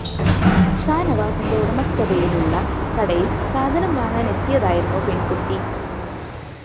ഷാനവാസിന്റെ ഉടമസ്ഥതയിലുള്ള കടയില്‍ സാധനം വാങ്ങാനെത്തിയതായിരുന്നു പെണ്‍കുട്ടി